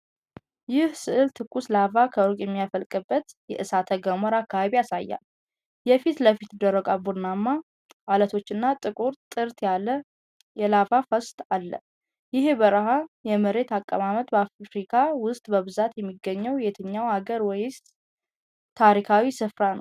ይህ ሥዕል ትኩስ ላቫ ከሩቅ የሚፈልቅበትን የእሳተ ገሞራ አካባቢ ያሳያል። የፊት ለፊት የደረቁ ቡናማ አለቶችና ጥቁር ጥርት ያለ የላቫ ፍሰት አለ። ይህ የበረሃ የመሬት አቀማመጥ በአፍሪካ ውስጥ በብዛት የሚገኘው የትኛው አገር ወይስ ታሪካዊ ስፍራ ነው?